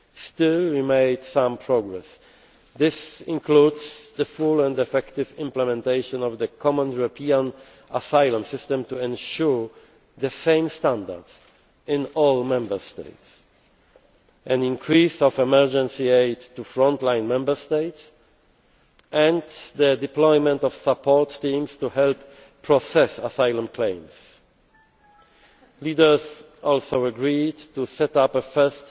Still, we made some progress. This includes the full and effective implementation of the Common European Asylum System to ensure the same standards in all Member States, an increase of emergency aid to front line Member States and the deployment of support teams to help process asylum claims. Leaders also agreed to set up